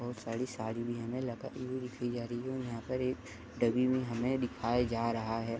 बहुत सारी साड़ी भी हमें यहाँ पर हमें डमी भी दिखाई जा रहा है।